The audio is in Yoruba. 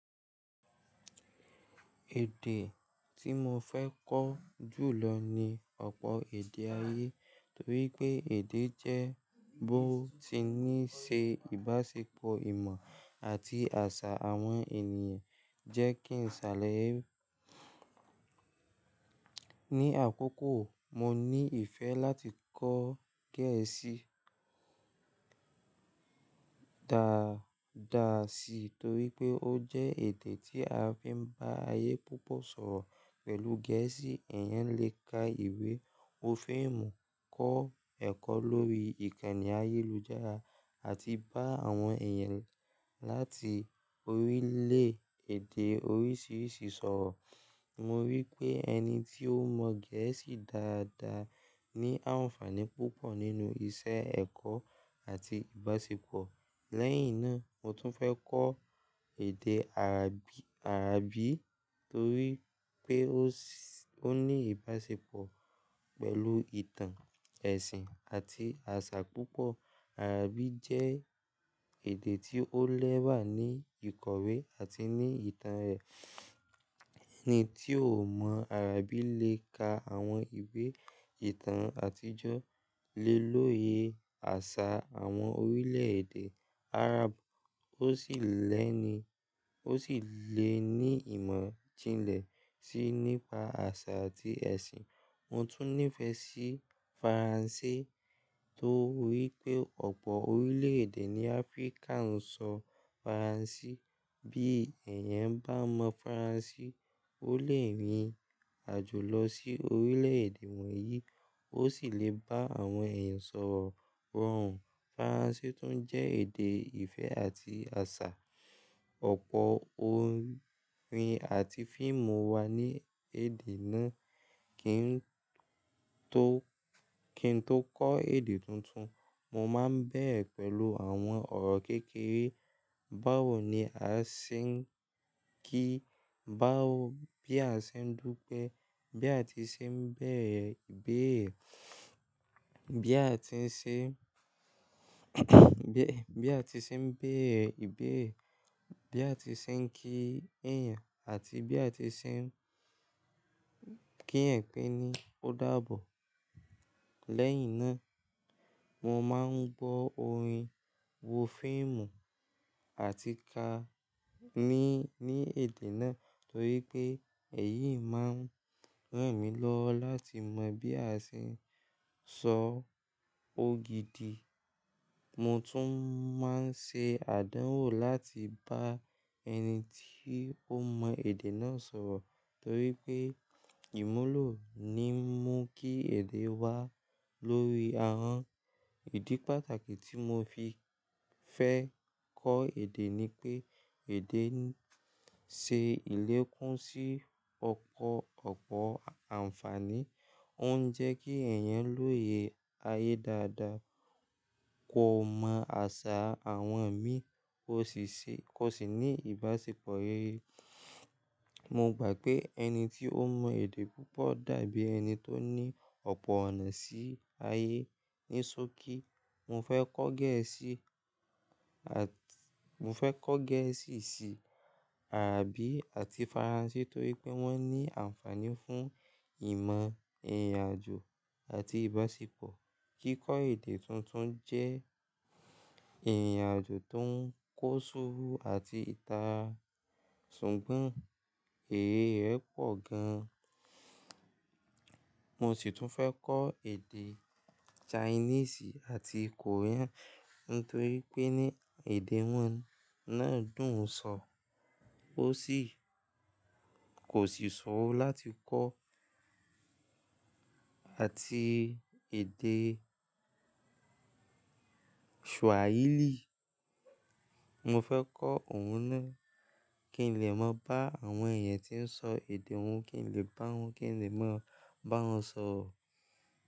Èdè tí mo fẹ́ kọ́ jù lọ ni ọ̀pọ̀ èdè ayé, torí pé èdè jẹ́ bó ti ní í ṣe ìbáṣepọ̀ ìmọ̀ àti àṣà àwọn ènìyàn, jẹ́ kí n ṣàlàyé. Ni àkókò mo ní ìfẹ́ láti kọ́ Gẹ̀ẹ́sì dáadáa sí torí pé ó jẹ́ èdè tí a fi ń bá ayé púpọ̀ sọ̀rọ̀. Pẹ̀lú Gẹ̀ẹ́sì, ẹ̀yan lè ka ìwé, wo fíìmù, kọ́ ẹ̀kọ́ lórí ìkànnì ayélujára àti bá àwọn èèyàn láti orílẹ̀-èdè oríṣiríṣi sọ̀rọ̀. Mo rí i pé ẹni tí ó mọ̀ Gẹ̀ẹ́sì dáadáa ní àǹfààní púpọ̀ nínú iṣẹ́ ẹ̀kọ́ àti ìbáṣepọ̀. Lẹ́yìn náà, mo tún fẹ́ kọ́ èdè Áràbì torí pé ó ní ìbáṣepọ̀ pẹ̀lú ìtàn, ẹ̀sìn àti àṣà púpọ̀. Áràbì jẹ́ èdè tí ó lẹ́wà ní ìkọ̀wé àti ní ìtàn rẹ̀. Ẹni tí ò mọ̀ Áràbì lè ka àwọn ìwé ìtàn àtijọ́, lè lóye àṣà àwọn orílẹ̀-èdè Arab, ó sì lè ní ìmọ̀ jinlẹ̀ sì nípa àṣà àti ẹ̀sìn. Mo tún nífẹ̀ẹ́ sí Faransé torí pé ọ̀pọ̀ orílẹ̀-èdè ní Áfríkà ń sọ Faransé. Bí ẹ̀yan bá mọ̀ Faransé, o lè rìn ìrìnàjò lọ sí orílẹ̀-èdè wọ̀nyí, ó sì lè bá àwọn èèyàn sọ̀rọ̀. Faransé tún jẹ́ èdè ìfẹ́ àti àṣà. Ọ̀pọ̀ orin àti fíìmù wà ní èdè náà. Kí n tó kọ́ èdè tuntun, mo máa ń bẹ̀rẹ̀ pẹ̀lú àwọn ọ̀rọ̀ kékeré. Báwo ni a ṣe ń kí? Báwo bí a ṣe ń dúpẹ́? Bí a ti ṣe ń bẹ̀rẹ̀ ìbéèrè? Bí a ti ṣe ń bí a ti ṣe ń bẹ̀rẹ̀ ìbéèrè? Bí a ti ṣe ń kí èèyàn àti bí a ti ṣe ń kí ẹ̀pẹ̀ ni ó dààbọ̀. Lẹ́yìn náà, mo máa ń gbọ́ orin, wo fíìmù àti ká ní èdè náà torí pé èyí máa ń ràn mí lọ́wọ́ láti mọ̀ bí a ṣe ń sọ ó gidi. Mo tún máa ń ṣe àdánwò láti bá ẹni tí ó mọ èdè náà sọ̀rọ̀ torí pé ìmúlò ni mú kí èdè wá lórí ara. Ìdí pàtàkì tí mo fi fẹ́ kọ́ èdè ni pé èdè ń ṣe ìlékùn sí ọ̀pọ̀ àǹfààní. Ó ń jẹ́ kí ẹ̀yin lóye ayé dáadáa, kó mọ àṣà àwọn ẹ̀mí, kó sì ní ìbáṣepọ̀ rere. Mo gbà pé ẹni tí ó mọ èdè púpọ̀ dàbí ẹni tó ní ọ̀pọ̀ ọ̀nà sí ayé. Nisoki mo fẹ́ kọ́ Gẹ̀ẹ́sì, mo fẹ́ kọ́ Gẹ̀ẹ́sì, sì Áràbì àti Faransé torí pé wọ́n ní àǹfààní fún ìmọ̀, ìrìnàjò àti ìbáṣepọ̀. Kíkọ́ èdè tuntun jẹ́ ìrìnàjò tó ń kó ṣúrù àti ìta, ṣùgbọ́n èrè rẹ̀ pọ̀ gan. Mo sì tún fẹ́ kọ́ èdè Chinese àti Korean nítorí pé ní èdè wọn náà dùn sọ, kò sì ṣòro láti kọ́, àti èdè Swahili. Mo fẹ́ kọ́ òun náà kí n lè mọ̀ bá àwọn èèyàn tí ó ń sọ èdè òun, kí n lè bá wọn, kí n lè mọ̀ bá wọn sọ̀rọ̀